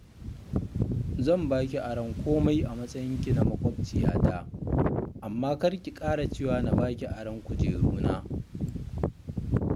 Zan ba ki aron komai a matsayinki na maƙwabciyata, amma kar ki ƙara cewa na ba ki aron kujeruna